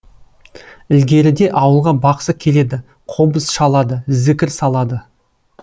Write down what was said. ілгеріде ауылға бақсы келеді қобыз шалады зікір салады